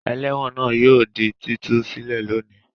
Ẹlẹ́wọ̀n náà yóò di títú sílè lónìí.